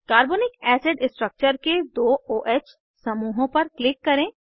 carbonic acid structure के दो o ह समूहों पर क्लिक करें